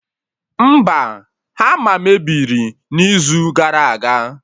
Mba, ha a mebiri n'izu gara aga